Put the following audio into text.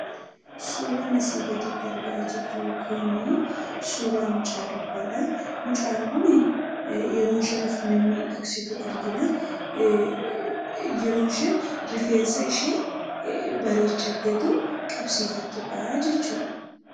Suuraan asii gaditti argaa jirru kun suuraa mucaa durbaadha. Mucaan kun yeroo isheen of mimmiidhagsitu argina. Yeroo isheen rifeensa ishee bareechatteetu qabsiifattuudha jechuudha.